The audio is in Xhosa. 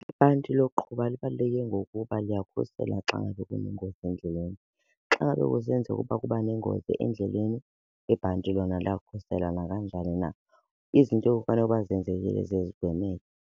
Ibhanti lokuqhuba libaluleke ngokuba liyakhusela xa ngabe kunengozi endleleni. Xa ngabe kusenzeka ukuba kuba nengozi endleleni ibhanti lona liyakukhusela nakanjani na. Izinto ekufanele uba zenzekile ziye zigwemeke.